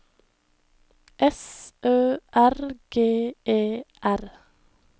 S Ø R G E R